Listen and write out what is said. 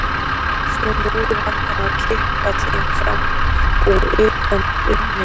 Svo móðir hennar að kippa þeim fram úr undan bununni.